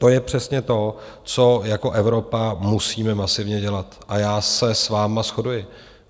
To je přesně to, co jako Evropa musíme masivně dělat, a já se s vámi shoduji.